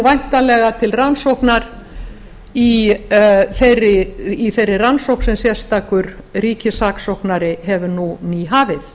væntanlega til rannsóknar í þeirri rannsókn sem sérstakur ríkis saksóknari hefur nú nýhafið